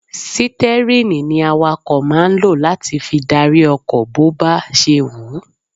Sítẹ́rìnì ni àwàkọ̀ máa ń lọ láti fi dárí ọkọ̀ bó ba ṣe wù-ú.